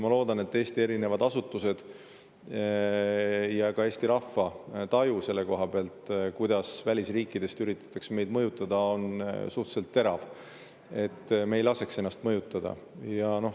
Ma loodan, et Eesti erinevate asutuste ja ka Eesti rahva taju sellest, kuidas välisriikidest üritatakse meid mõjutada, on suhteliselt terav, et me ei laseks ennast mõjutada.